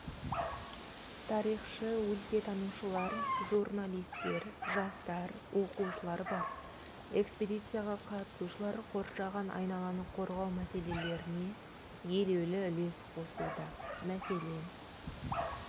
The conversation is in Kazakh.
тарихшы-өлкетанушылар журналистер жастар оқушылар бар экспедицияға қатысушылар қоршаған айналаны қорғау мәселелеріне елеулі үлес қосуда мәселен